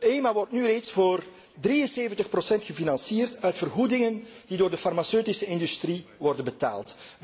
EMA wordt nu reeds voor 73 gefinancierd uit vergoedingen die door de farmaceutische industrie worden betaald.